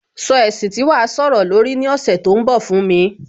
Sọ ẹ̀sìn tí wàá sọ̀rọ̀ lórí ní ọ̀sẹ̀ tó ń bọ̀ fún mi